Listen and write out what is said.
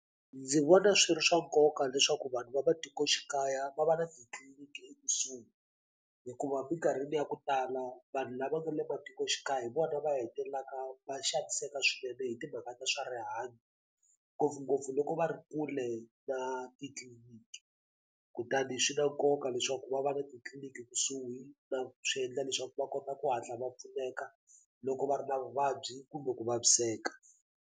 Ndzi vona swi ri swa nkoka leswaku vanhu va matikoxikaya va va na titliliniki ekusuhi hikuva mikarhini ya ku tala vanhu lava nga le matikoxikaya hi vona va hetelelaka va xaniseka swinene hi timhaka ta swa rihanyo ngopfungopfu loko va ri kule na titliliniki kutani swi na nkoka leswaku va va na titliniki kusuhi swi endla leswaku va kota ku hatla va pfuneka loko va ri na vuvabyi kumbe ku vaviseka.